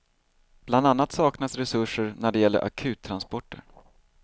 Bland annat saknas resurser när det gäller akuttransporter.